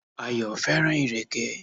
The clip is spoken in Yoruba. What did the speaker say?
Ayò fẹ́ràn ìrèké